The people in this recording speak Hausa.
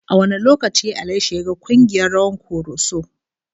A wane lokaci Ali ya shiga kungiyar rawan Koroso?